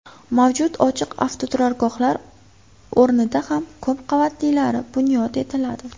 Mavjud ochiq avtoturargohlar o‘rnida ham ko‘p qavatlilari bunyod etiladi.